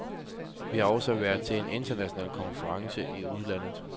Vi har også været til en international konference i udlandet.